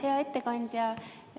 Hea ettekandja!